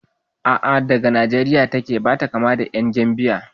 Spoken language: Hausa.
A'a daga Nijeriya take, bata kama da ƴan Gambiya ai